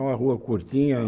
É uma rua curtinha